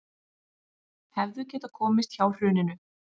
Hefðu getað komist hjá hruninu